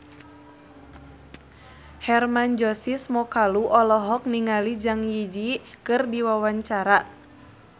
Hermann Josis Mokalu olohok ningali Zang Zi Yi keur diwawancara